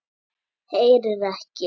Heyrir ekki.